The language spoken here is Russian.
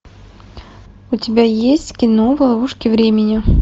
у тебя есть кино ловушки времени